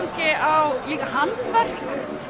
á handverk